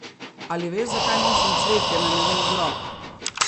Ali veš, zakaj nosim cvetje na njegov grob?